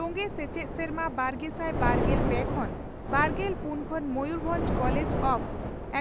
ᱛᱚᱝᱜᱮ ᱥᱮᱪᱮᱫ ᱥᱮᱨᱢᱟ ᱵᱟᱨᱜᱮᱥᱟᱭ ᱵᱟᱨᱜᱮᱞ ᱯᱮ ᱠᱷᱚᱱ ᱵᱟᱨᱜᱮᱞ ᱯᱩᱱ ᱠᱷᱚᱱ ᱢᱚᱭᱩᱨ ᱵᱷᱚᱸᱡᱽ ᱠᱚᱞᱮᱡᱽ ᱚᱯ